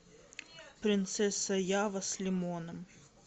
принцесса ява с лимоном